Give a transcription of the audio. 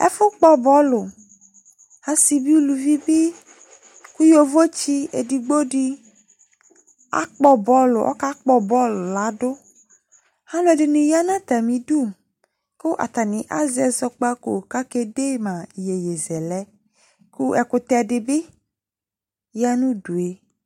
ɛfu kpo bolu ɑsibi uluvibi ku yovotsi edigbodi ɔkakpo bol lɑdu ɑluediniyɑ nɑtɑmidu ku ɑtani ɑzeɛzɔgbɑko kɑ kɛdemɑ ĩyeye zele ku ɛkutedibi yɑnudue